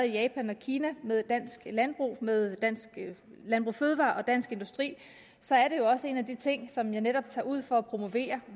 i japan og kina med landbrug med landbrug fødevarer og dansk industri så er det jo også en af de ting som jeg netop tager ud for at promovere